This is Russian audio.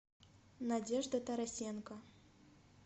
надежда тарасенко